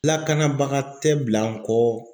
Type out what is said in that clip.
Lakanabaga tɛ bila n kɔ.